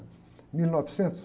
mil e novecentos